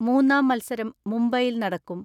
മൂന്നാം മത്സരം മുംബൈയിൽ നടക്കും.